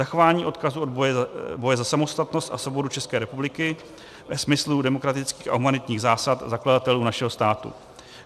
Zachování odkazu boje za samostatnost a svobodu České republiky ve smyslu demokratických a humanitních zásad zakladatelů našeho státu.